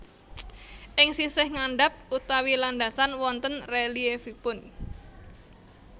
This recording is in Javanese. Ing sisih ngandhap utawi landasan wonten rèlièfipun